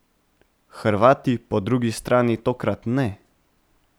Hrvati po drugi strani tokrat ne.